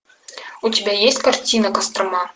у тебя есть картина кострома